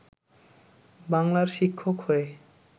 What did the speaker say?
বাংলার শিক্ষক হয়ে